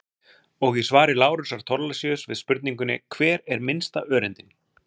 Og í svari Lárusar Thorlacius við spurningunni Hver er minnsta öreindin?